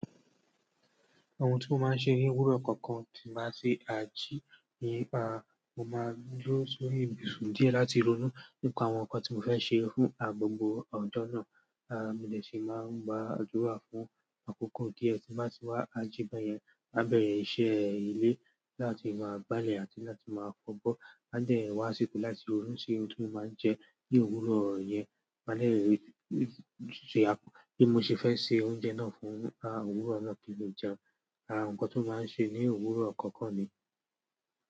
Ohun tí mo máa ń ṣe ní òwúrọ̀ kọ̀ọ̀kan tí màá ṣe à jí ni, à mo máa lọ sórí ibùsùn díẹ̀ láti ronú nípa àwọn ǹkan tí mo fẹ́ ṣe fún gbogbo ọ̀jọ́ náà. À mí de si máa ń gba àdúrà fún àkókò díẹ̀ tí màá ti wá à ji be yẹn, má bẹ̀rẹ̀ iṣẹ́ ilé láti máa gbálẹ̀ àti láti máa fọ̀bọ́ Máa dẹ̀ wá sípò láti orún ṣe oúnjẹ máa ń jẹ ní òwúrọ̀ yẹn. Máa de bí mo ṣe fẹ́ se oúnjẹ náà fún òwúrọ̀ náà kí n lè jẹun. Àwon ǹkan ti máa ń ṣe ní òwúrọ̀ kọ̀ọ̀kan ni.